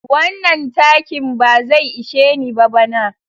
Wannan takin ba zai ishe ni ba bana.